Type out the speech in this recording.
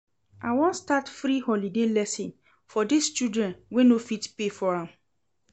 I wan start free holiday lesson for dis children wey no fit pay for am